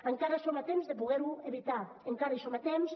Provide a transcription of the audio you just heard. encara som a temps de poder ho evitar encara hi som a temps